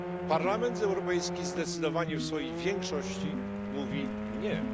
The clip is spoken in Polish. Parlament Europejski zdecydowanie w swojej większości mówi nie.